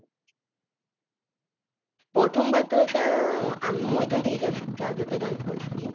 প্ৰথম বাৰ তো sir আম মই তো নিজৰ church তে dance কৰিছিলো